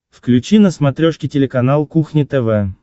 включи на смотрешке телеканал кухня тв